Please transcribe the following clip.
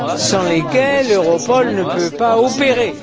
sans lesquelles Europol ne peut pas opérer.